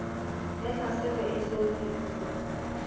ya tlhaselo e eso fihle